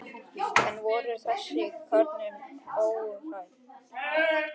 En voru þessar kröfur óraunhæfar?